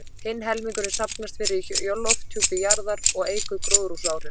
Hinn helmingurinn safnast fyrir í lofthjúpi jarðar og eykur gróðurhúsaáhrif.